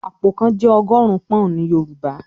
"Àpò kan" Jẹ́ ọgọ́rùn-ún pọ́n-ọ̀n ní Yorùbá